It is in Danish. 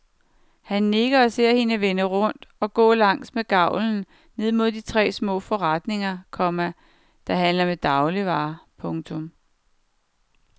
Han nikker og ser hende vende rundt og gå langs med gavlen ned mod de tre små forretninger, komma der handler med dagligvarer. punktum